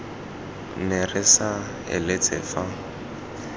ne re sa eletse fa